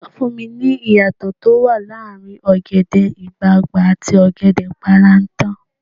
Sọ fún mi, ìyàtọ̀ tó wà láàrin ọ̀gẹ̀dẹ̀ ọ̀gbagbà àti ọ̀gẹ̀dẹ̀ páráǹtà.